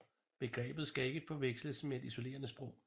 Begrebet skal ikke forveksles med et isolerende sprog